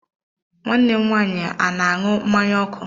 Nwanne m nwaanyị ana-aṅụ mmanya ọkụ.